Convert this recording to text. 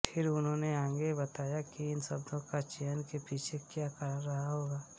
फिर उन्होंने आगे बताया कि इन शब्दों के चयन के पीछे क्या कारण रहा होगा